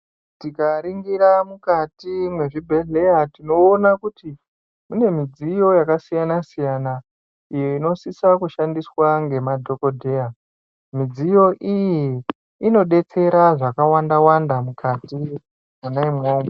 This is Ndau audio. Tikaringira mukati mwezvibhedheya, tinoona kuti mune midziyo yakasiyana-siyana, iyo inosisa kushandiswa ngemadhokodheya. Midziyo iyi inodetsera zvakawanda-wanda mukati mwona imwomwo.